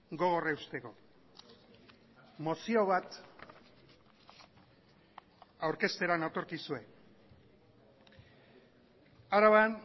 gogor eusteko mozio bat aurkeztera natorkizue araban